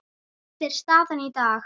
Þetta er staðan í dag.